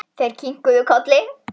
Þeir kinkuðu kolli.